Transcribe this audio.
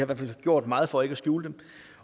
hvert fald gjort meget for ikke at skjule dem